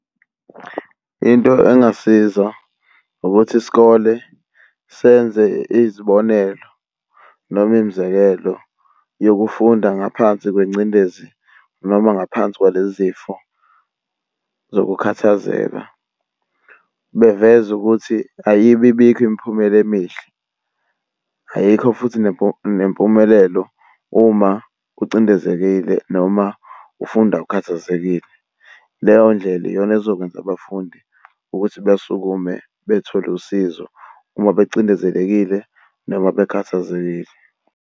Into engasiza ukuthi isikole senze izibonelo noma imzekelo yokufunda ngaphansi kwengcindezi noma ngaphansi kwale zifo zokukhathazeka. Beveze ukuthi ayibi bikho imiphumela emihle ayikho futhi nempumelelo uma ucindezekile noma ufunda ukhathazekile. Leyo ndlela iyona ezokwenza abafundi ukuthi besukume bethole usizo uma becindezelekile noma bekhathazekile.